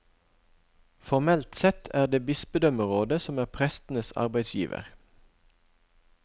Formelt sett er det bispedømmerådet som er prestenes arbeidsgiver.